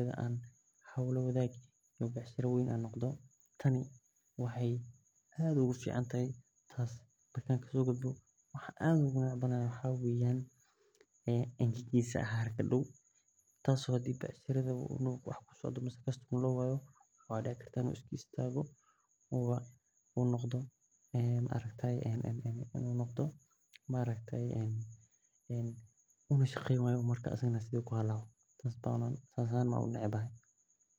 uron an hol lawadhagi karin tan waxee aad ogu fican tas marka an kaso gudbo maxaa waye maxaa dici karta in u iska istago oo uistago oo u shaqeyni wayo sas ba unecbahay marka u hore agabaha alwaxa iyo maxaa usameynesa meel dadka kaso galo oo sinayo marka hore waa in an ka qeyb qarto.